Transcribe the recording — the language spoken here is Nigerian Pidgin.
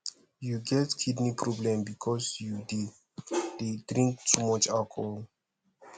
you get kidney problem because you dey dey drink too much alcohol